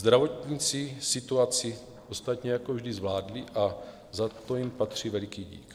Zdravotníci situaci ostatně jako vždy zvládli a za to jim patří veliký dík.